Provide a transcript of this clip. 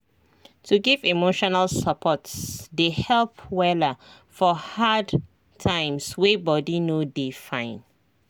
to give emotional support dey help wella for hard times wey body no dey fine